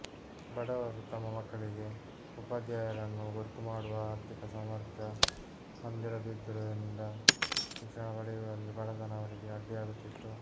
ಬಡವರು ತಮ್ಮ ಮಕ್ಕಳಿಗೆ ಉಪಾಧ್ಯಾಯರನ್ನು ಗೊತ್ತು ಮಾಡುವ ಆರ್ಥಿಕ ಸಾಮರ್ಥ್ಯ ಹೊಂದಿರ ದಿದ್ದುದರಿಂದ ಶಿಕ್ಷಣ ಪಡೆಯುವಲ್ಲಿ ಬಡತನ ಅವರಿಗೆ ಅಡ್ಡಿಯಾಗುತ್ತಿತ್ತು